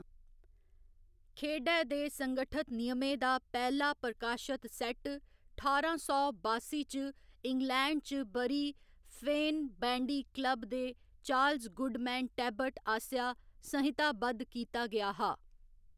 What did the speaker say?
खेढै दे संगठत नियमें दा पैह्‌‌ला प्रकाशत सैट्ट ठारां सौ बासी च इंग्लैंड च बरी फेन बैंडी क्लब दे चार्ल्स गुडमैन टेबबट आसेआ संहिताबद्ध कीता गेआ हा।